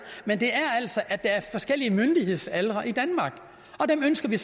men det er altså at der er forskellige myndighedsaldre i danmark dem ønsker vi